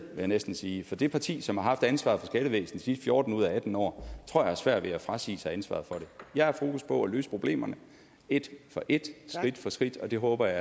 jeg næsten sige for det parti som har haft ansvaret for skattevæsenet de sidste fjorten ud af atten år tror jeg har svært ved at frasige sig ansvaret for det jeg har fokus på at løse problemerne et for et skridt for skridt og det håber jeg